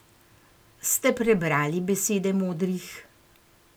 Ste prebrali besede modrih?